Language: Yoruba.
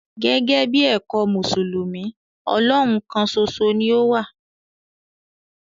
Gẹ̀gẹ̀bí èkọ̀ Musulumi, Ọlọ́hùn kán sòṣo ni o wà.